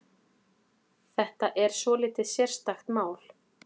Þetta er svolítið sérstakt mál.